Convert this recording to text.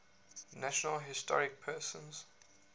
national historic persons